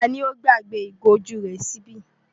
Ta ni ó gbàgbé ìgò ojú rẹ̀ sí ibí?